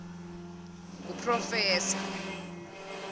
nguproffesor